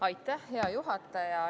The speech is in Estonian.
Aitäh, hea juhataja!